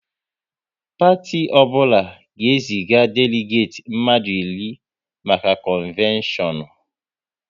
Parti ọbụla ga e zije deligeti mmadụ iri maka konveshonu